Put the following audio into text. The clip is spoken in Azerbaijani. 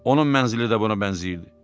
Onun mənzili də buna bənzəyirdi.